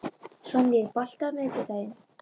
Sonný, er bolti á miðvikudaginn?